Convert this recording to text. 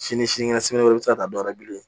Sini sini kɛnɛ i bɛ se ka taa dɔwɛrɛ bilen